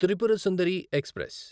Tripura Sundari express